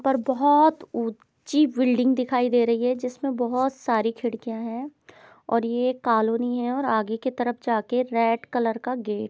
पर बहोत ऊंची बिल्डिंग दिखाई दे रही है जिसमे बहोत सारी खिड़कियां हैं और ये कालोनी है और आगे के तरफ जाके रेड कलर का गेट ।